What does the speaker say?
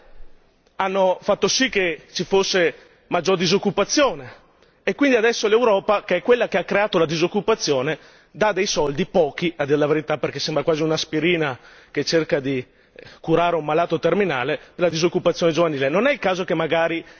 più tasse hanno fatto sì che ci fosse maggiore disoccupazione e quindi adesso l'Europa, che è quella che ha creato la disoccupazione dà dei soldi pochi, a dir la verità, perché sembra quasi un'aspirina che cerca di curare un malato terminale per la disoccupazione giovanile.